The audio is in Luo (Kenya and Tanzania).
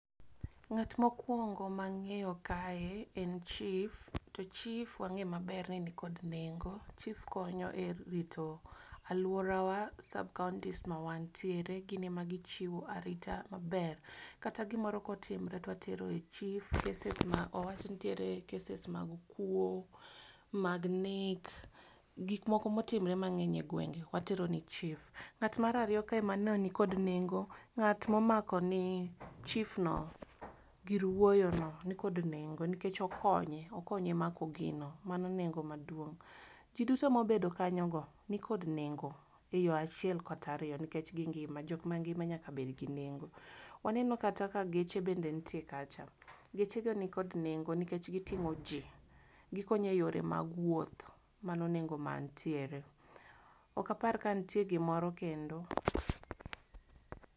Ng'at mokuongo mang'eyo kae en chif to chif wang'eyo maber ni nikod nengo. Chif konyo erito aluorawa, sab kaounti ma wantiere gichiwo narita maber, kata gimoro kotimore to watero e chif, cases ma owach ni nitiere cases mag kuo, owach ni nitiere, mag nek. Kik moko otim, ore mang' egwenge. Ng'at mar ariyo kae man kod nengo, ng'at ma omako ne chifno gir wuoyono nikod nengo nikech okonye, okonye mako gino. Mano nengo maduong'. Ji duto mobedo kanyono nikod nengo, eyo achiel kata ariyo, nikech gingima, jok mangima nyaka bed gi nengo. Waneno kata ka geche bende nitie kacha. Gechego nikod nengo, nikech giting'o ji, gikonyo e yore mag wuoth. Mano nengo mantiere. Ok apar ka nitiere gimoro kendo.